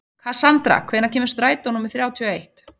Kassandra, hvenær kemur strætó númer þrjátíu og eitt?